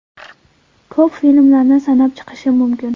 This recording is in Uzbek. Ko‘p filmlarni sanab chiqishim mumkin.